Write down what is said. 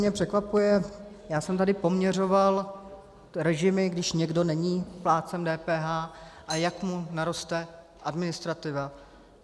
Mě překvapuje - já jsem tady poměřoval režimy, když někdo není plátcem DPH a jak mu naroste administrativa.